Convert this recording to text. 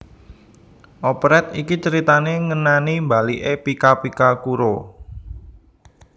Operet iki critané ngenani mbaliké Pika Pika Kuro